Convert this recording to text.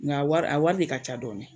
Nga a wari a wari de ka ca dɔɔnin.